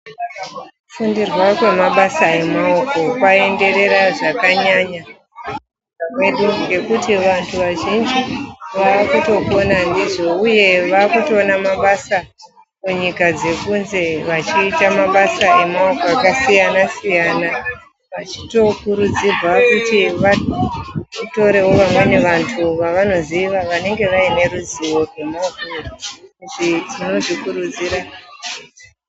Kufundirwa kwemabasa emaoko kwaenderera zvakanyanya munyika mwedu ngekuti vantu vazhinji vakutopona ndizvo uye vakutoona mabasa kunyika dzekunze vachiita mabasa emaoko akasiyana siyana. Vachitokurudzirwa kuti vatorewo vamweni vantu vavanoziva vanenge vane ruzivo rwemabasa iwayo. Tino zvikurudzira..